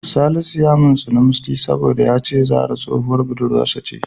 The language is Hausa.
Salisu ya mintsini Musty saboda ya ce Zahra tsohuwar budurwarsa ce da.